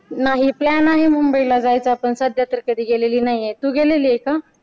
नाही plan आहे मुंबई ला जायचा पण सध्या तर कधी गेलेली नाहीये तू गेलेले आहे का?